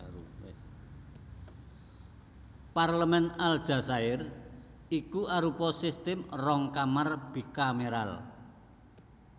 Parlemèn Aljazair iku arupa sistem rong kamar bikameral